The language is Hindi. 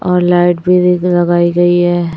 और लाइट भी एक लगाई गई है।